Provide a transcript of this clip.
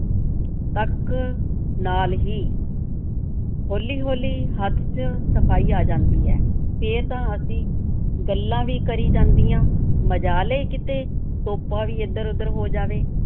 ਤੱਕ ਨਾਲ ਹੀ ਹੌਲੀ-ਹੌਲੀ ਹੱਥ ਚ ਸਫ਼ਾਈ ਆ ਜਾਂਦੀ ਹੈ, ਫੇਰ ਤਾਂ ਅਸੀਂ ਗੱਲਾਂ ਵੀ ਕਰੀ ਜਾਂਦੀਆਂ, ਮਜਾਲ ਏ ਕਿਤੇ ਤੋਪਾ ਵੀ ਇੱਧਰ-ਓਧਰ ਹੋ ਜਾਵੇ।